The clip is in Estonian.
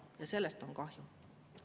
Ja sellest on kahju.